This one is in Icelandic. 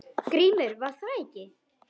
GRÍMUR: Var það ekki!